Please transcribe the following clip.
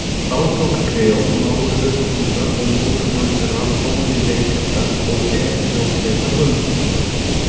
Þá tók Kreon, mágur Ödípúsar og móðurbróðir þeirra Pólýneikesar og Eteóklesar völdin.